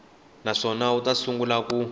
naswona wu ta sungula ku